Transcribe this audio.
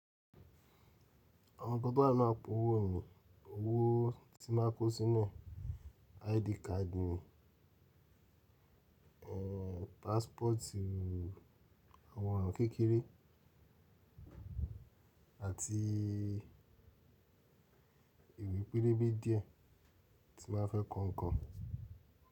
Àwọn gbogbo àwọn apò owó òyìnbó owó tí màá ko sínú, ID card, passport àwọn oro kèkèré àti ìbí pelebe díẹ̀ tí màá fẹ́ kọ́ nǹkan.